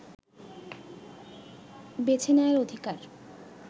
বেছে নেয়ার অধিকার